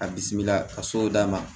A bisimila ka so d'a ma